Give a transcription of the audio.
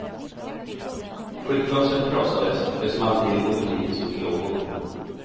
Skyltfönstret krossades, det small till och butiken i stod i lågor.